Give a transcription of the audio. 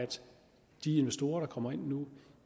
de investorer der kommer ind nu